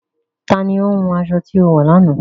Tani o hún aṣọ̀ tí o wọ lọ́nà?